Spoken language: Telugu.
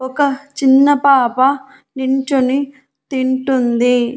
ఒక చిన్న పాప నిల్చొని తింటుంది.